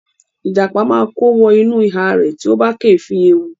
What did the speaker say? Ìjàpá máa kó wọ inú ihá rẹ̀ tí ó bá kéèéfín ewu.